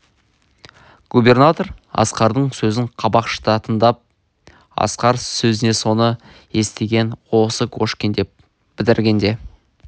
губернатор асқардың сөзін қабақ шыта тыңдап асқар сөзін соны істеген осы кошкин деп бітіргенде